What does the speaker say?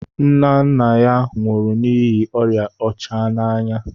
Nna nna ya nwụrụ n'ihi oria ọcha n'anya